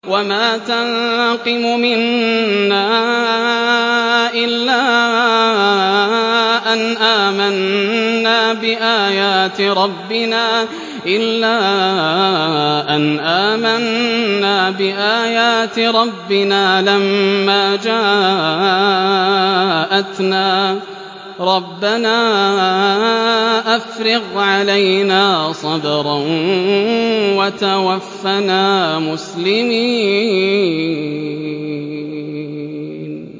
وَمَا تَنقِمُ مِنَّا إِلَّا أَنْ آمَنَّا بِآيَاتِ رَبِّنَا لَمَّا جَاءَتْنَا ۚ رَبَّنَا أَفْرِغْ عَلَيْنَا صَبْرًا وَتَوَفَّنَا مُسْلِمِينَ